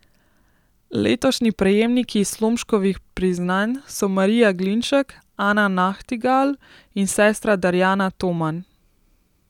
Letošnji prejemniki Slomškovih priznanj so Marija Glinšek, Ana Nahtigal in sestra Darjana Toman.